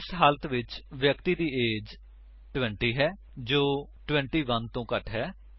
ਇਸ ਹਾਲਤ ਵਿੱਚ ਵਿਅਕਤੀ ਦੀ ਏਜ 20 ਹੈ ਜੋ 21 ਤੋਂ ਘੱਟ ਹੈ